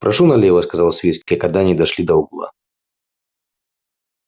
прошу налево сказал свицкий когда они дошли до угла